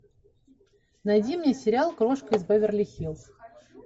найди мне сериал крошка из беверли хиллз